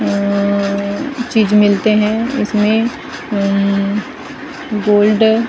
अम्म चीज़ मिलते है इसमे उम्म गोल्ड --